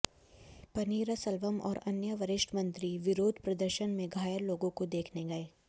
पनीरसेल्वम और अन्य वरिष्ठ मंत्री विरोध प्रदर्शन में घायल लोगों को देखने गए